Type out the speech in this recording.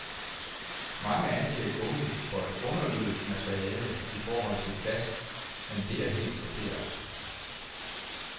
Mange anser gummi for et underlødigt materiale i forhold til plast, men det er helt forkert.